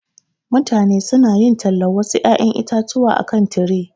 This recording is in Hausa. Mutane su na yin talan wasu ƴaƴan itatuwa a kan tire.